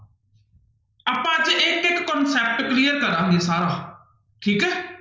ਆਪਾਂ ਅੱਜ ਇੱਕ ਇੱਕ concept clear ਕਰਾਂਗਾ ਸਭ ਠੀਕ ਹੈ।